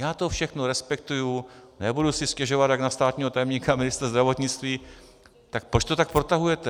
Já to všechno respektuji, nebudu si stěžovat jak na státního tajemníka ministr zdravotnictví, tak proč to tak protahujete?